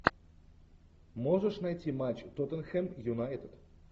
можешь найти матч тоттенхэм юнайтед